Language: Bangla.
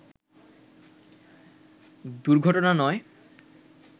দুর্ঘটনা নয়